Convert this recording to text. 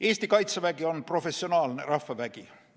Eesti Kaitsevägi on professionaalne rahvavägi.